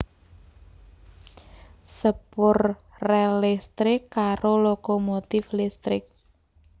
Sepur rèl listrik karo lokomotif listrik